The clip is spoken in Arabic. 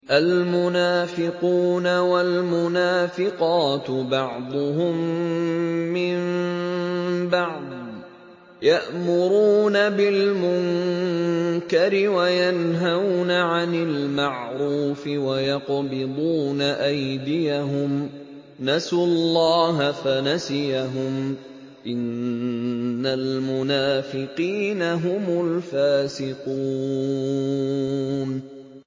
الْمُنَافِقُونَ وَالْمُنَافِقَاتُ بَعْضُهُم مِّن بَعْضٍ ۚ يَأْمُرُونَ بِالْمُنكَرِ وَيَنْهَوْنَ عَنِ الْمَعْرُوفِ وَيَقْبِضُونَ أَيْدِيَهُمْ ۚ نَسُوا اللَّهَ فَنَسِيَهُمْ ۗ إِنَّ الْمُنَافِقِينَ هُمُ الْفَاسِقُونَ